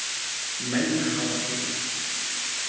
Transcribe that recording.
Menn hafa tíma